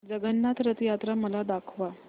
जगन्नाथ रथ यात्रा मला दाखवा